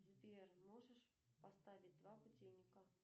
сбер можешь поставить два будильника